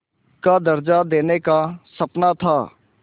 का दर्ज़ा देने का सपना था